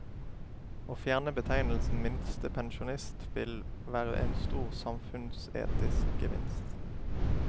Å fjerne betegnelsen minstepensjonist vil være en stor samfunnsetisk gevinst.